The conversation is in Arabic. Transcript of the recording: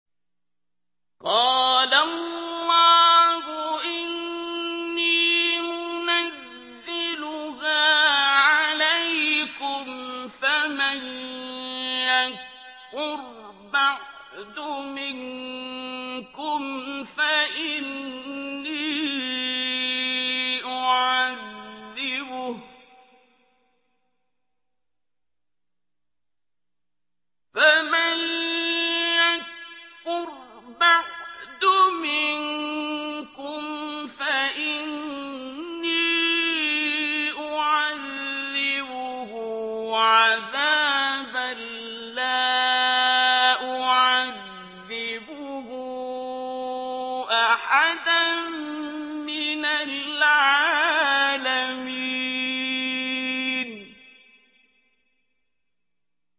قَالَ اللَّهُ إِنِّي مُنَزِّلُهَا عَلَيْكُمْ ۖ فَمَن يَكْفُرْ بَعْدُ مِنكُمْ فَإِنِّي أُعَذِّبُهُ عَذَابًا لَّا أُعَذِّبُهُ أَحَدًا مِّنَ الْعَالَمِينَ